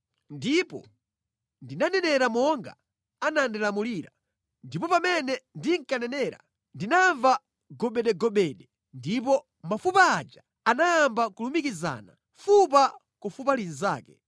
Ndipo ndinanenera monga anandilamulira. Ndipo pamene ndinkanenera, ndinamva gobedegobede, ndipo mafupa aja anayamba kulumikizana, fupa ku fupa linzake.